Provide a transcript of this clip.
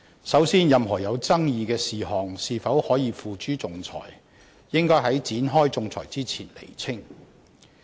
首先，任何有爭議的事項是否可以付諸仲裁，應該在展開仲裁之前釐清。